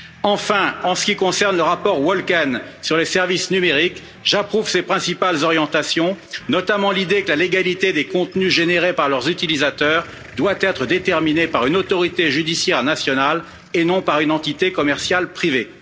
Enfin, en ce qui concerne le rapport Wölken sur les services numériques, j'approuve ses principales orientations, notamment l'idée que la légalité des contenus générés par leurs utilisateurs doit être déterminée par une autorité judiciaire nationale et non par une entité commerciale privée.